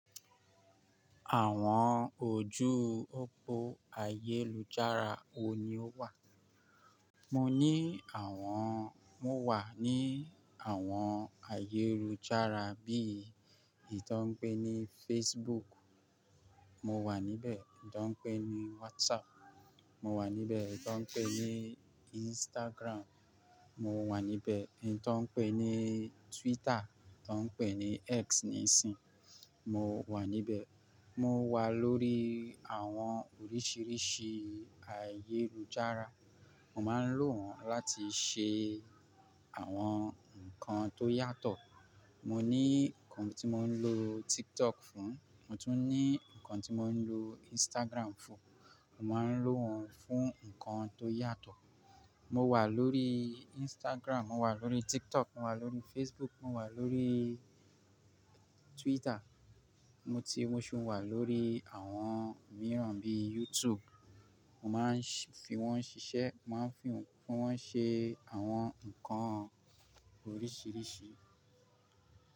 Àwọn ojú òpó ayélujára wo ni o wà? Mo ní àwọn, mo wà ní àwọn ayélujára bíi ẹyin tó ń pè ní Facebook, mo wà níbẹ̀. Tí wọ́n ń pè ní WhatsApp, mo wà níbẹ̀. Tí wọ́n ń pè ní Instagram, mo wà níbẹ̀. Ẹyi tí wọ́n ń pè ní Twitter, tọ́ ń pè ní X nísìín, mo wà níbẹ̀. Mo wà lórí àwọn oríṣiríṣi ayélujára. Mo máa ń lò wọ́n láti ṣe àwọn nǹkan tó yàtọ̀. Mo ní nǹkan tí mo ń lò TikTok fún, mo tún ní nǹkan tí mo ń lò Instagram fún. Mo máa ń lò wọ́n fún nǹkan tó yàtọ̀. Mo wà lórí Instagram, mo wà lórí TikTok, mo wà lórí Facebook, mo wà lórí Twitter. Mo ti, mo ṣì wà lórí àwọn mìíràn bíi YouTube. Mo máa ń fi wọ́n ṣiṣẹ́, mo máa ń fi wọ́n ṣe àwọn nǹkan oríṣiríṣi.